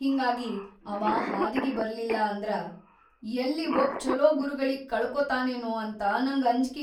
ಹಿಂಗಾಗಿ ಅವಾ ಹಾದಿಗಿ ಬರ್ಲಿಲ್ಲಂದ್ರ ಯಲ್ಲಿ ಒಬ್‌ ಛೊಲೋ ಗುರುಗಳಿಗ್‌ ಕಳಕೋತಾನೇನೋ ಅಂತ ನಂಗ್ ಅಂಜ್ಕಿ.